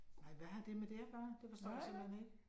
Nej, hvad har det med det at gøre? Det forstår jeg simpelthen ikke